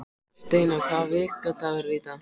Steina, hvaða vikudagur er í dag?